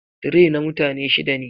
Tray na mutane shida ne.